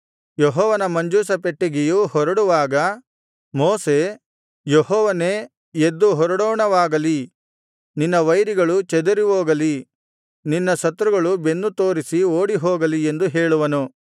ಯೆಹೋವನ ಮಂಜೂಷ ಪೆಟ್ಟಿಗೆಯು ಹೊರಡುವಾಗ ಮೋಶೆ ಯೆಹೋವನೇ ಎದ್ದು ಹೊರಡೋಣವಾಗಲಿ ನಿನ್ನ ವೈರಿಗಳು ಚದರಿಹೋಗಲಿ ನಿನ್ನ ಶತ್ರುಗಳು ಬೆನ್ನು ತೋರಿಸಿ ಓಡಿಹೋಗಲಿ ಎಂದು ಹೇಳುವನು